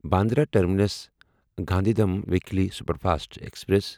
Bandra terminus Gandhidham weekly superfast express